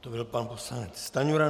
To byl pan poslanec Stanjura.